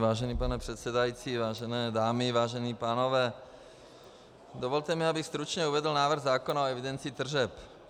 Vážený pane předsedající, vážené dámy, vážení pánové, dovolte mi, abych stručně uvedl návrh zákona o evidenci tržeb.